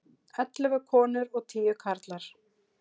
Ellefu konur og tíu karlar.